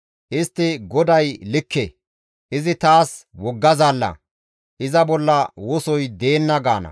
Istti, «GODAY likke; izi taas wogga zaalla; iza bolla wosoy deenna» gaana.